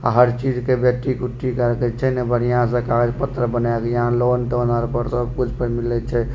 अ हर चीज के बैटीक उटीक रखइ छे ने बढ़िया से कागज पत्र बनाइयेले यहाँ लोन तोन और ऊपर से सब कुछ मिले छे।